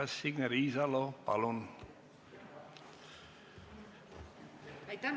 Signe Riisalo, palun!